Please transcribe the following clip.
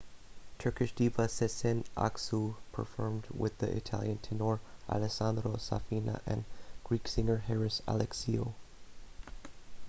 turkish diva sezen aksu performed with the italian tenor alessandro safina and greek singer haris alexiou